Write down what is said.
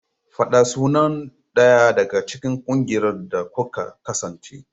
Fada sunan ɗaya daga cikin ƙungiyar da kuka kasance.